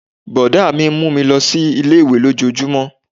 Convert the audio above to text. Brọ̀dá mi mú mi lọ sí ilé-ìwé lójojúmó